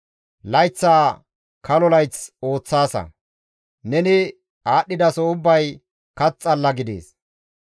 Layththaa kalo layth ooththaasa; neni aadhdhidaso ubbay kath xalla gidees.